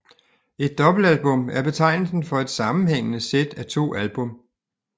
Et dobbeltalbum er betegnelsen for et sammenhængende sæt af to album